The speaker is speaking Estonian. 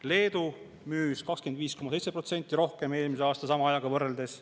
Leedu müüs kuni 25,7% rohkem eelmise aasta sama ajaga võrreldes.